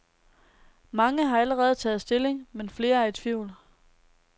Mange har allerede taget stilling, men flere er i tvivl.